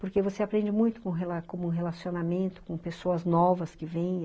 Porque você aprende muito com como relacionamento, com pessoas novas que vêm.